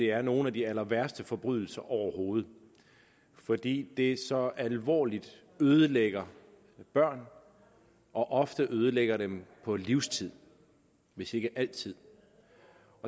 er nogle af de allerværste forbrydelser overhovedet fordi det så alvorligt ødelægger børn og ofte ødelægger dem på livstid hvis ikke altid